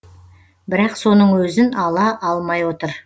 бірақ соның өзін ала алмай отыр